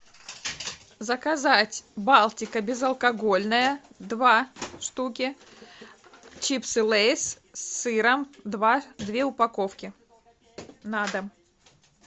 заказать балтика безалкогольное два штуки чипсы лейс с сыром два две упаковки на дом